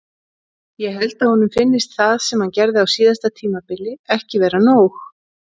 Ég held að honum finnist það sem hann gerði á síðasta tímabili ekki vera nóg.